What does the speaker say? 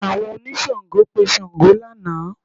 Àwọn oníṣàngó pe Ṣàngó lánàá